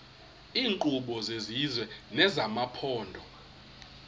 iinkqubo zesizwe nezamaphondo